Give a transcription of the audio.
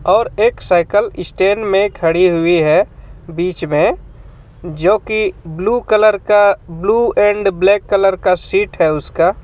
और एक cycle stand में खडी़ हुई है बीच में जो की ब्लू कलर का ब्लू एंड ब्लैक कलर का सीट है उसका --